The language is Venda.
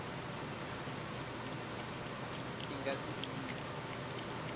i nga si ḓi vhidze